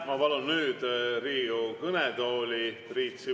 Ma palun nüüd Riigikogu kõnetooli Priit Sibula.